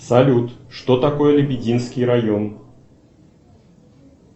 салют что такое лебединский район